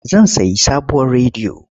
Zan sayi sabuwar rediyo.